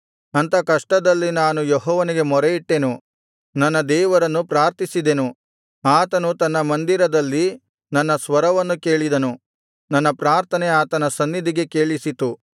ಅಂಥ ಕಷ್ಟದಲ್ಲಿ ನಾನು ಯೆಹೋವನಿಗೆ ಮೊರೆಯಿಟ್ಟೆನು ನನ್ನ ದೇವರನ್ನು ಪ್ರಾರ್ಥಿಸಿದೆನು ಆತನು ತನ್ನ ಮಂದಿರದಲ್ಲಿ ನನ್ನ ಸ್ವರವನ್ನು ಕೇಳಿದನು ನನ್ನ ಪ್ರಾರ್ಥನೆ ಆತನ ಸನ್ನಿಧಿಗೆ ಕೇಳಿಸಿತು